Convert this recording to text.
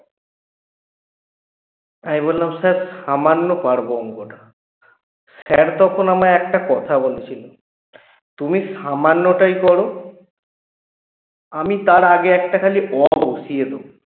আমি বললাম sir সামান্য পারব অংকটা sir তখন আমায় একটা কথা বলেছিল তুমি সামান্যটাই করো আমি তার আগে একটা খালি অ বসিয়ে দেব